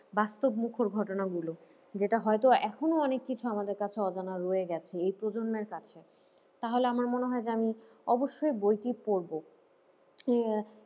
বাস্তব মুখর ঘটনাগুলো যেটা হয়তো এখনো অনেক কিছু আমাদের কাছে অজানা রয়ে গেছে এই প্রজন্মের কাছে, তাহলে আমার মনে হয় যে আমি অবশ্যই বইটি পড়বো, উহ